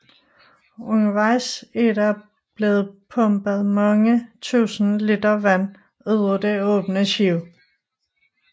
Undervejs er der blevet pumpet mange tusind liter vand ud af det åbne skib